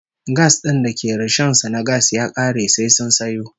Gas din da ke rishon su na gas ya kare sai sun sayo